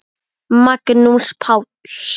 Magnús Páll.